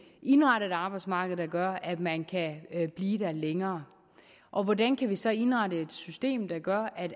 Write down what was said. indrette et arbejdsmarked der gør at man kan blive der længere og hvordan vi så indrette et system der gør at